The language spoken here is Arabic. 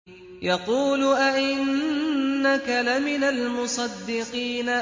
يَقُولُ أَإِنَّكَ لَمِنَ الْمُصَدِّقِينَ